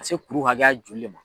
se kuru hakɛya joli le ma?